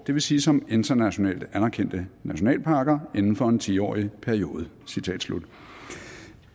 det vil sige som internationalt anerkendte nationalparker inden for en ti årig periode